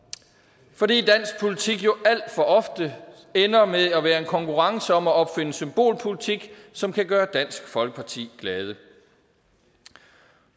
fordi dansk politik jo alt for ofte ender med at være en konkurrence om at opfinde symbolpolitik som kan gøre dansk folkeparti glade